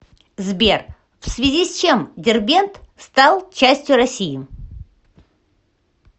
сбер в связи с чем дербент стал частью россии